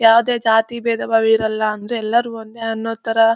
ಯಾವದೇ ಜಾತಿ ಭೇದಬಾವ ಇರಲ್ಲಾ ಅಂದ್ರೆ ಎಲ್ಲಾರು ಒಂದೇ ಅನ್ನೋ ತರ --